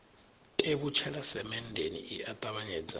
tevhutshela semenndeni i a ṱavhanyedza